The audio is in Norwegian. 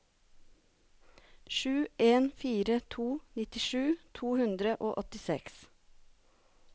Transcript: sju en fire to nittisju to hundre og åttiseks